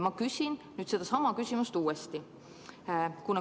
Ma küsin nüüd uuesti.